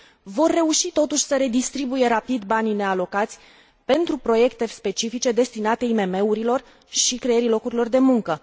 vor reuși totuși să redistribuie rapid banii nealocați pentru proiecte specifice, destinate IMM urilor și creării locurilor de muncă.